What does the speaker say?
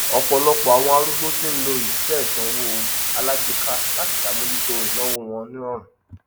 ọpọlọpọ àwon arúgbó ti ń lo iṣẹ ìsanwó alágbéka láti sàmójútó ìnàwó wọn nírọrùn